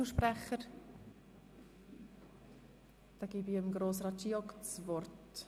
Wünschen Einzelsprecher das Wort?